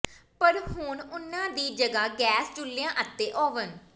ਪਰ ਹੁਣ ਉਨ੍ਹਾਂ ਦੀ ਜਗ੍ਹਾ ਗੈਸ ਚੁੱਲ੍ਹਿਆਂ ਅਤੇ ਓਵਨ